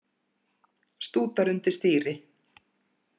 Stútar undir stýri